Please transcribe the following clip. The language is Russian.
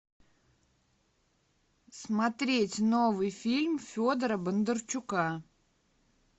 смотреть новый фильм федора бондарчука